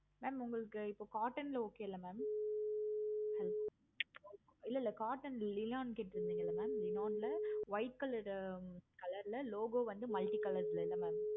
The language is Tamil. mam உங்களுக்கு cotton ல okay ல mam yeah cotton ல okay mam இல்ல இல்ல cotton white colored color ல logo வந்து multi-color ல இல்ல mam